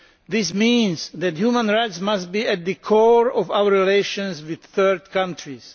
This means that human rights must be at the core of our relations with third countries.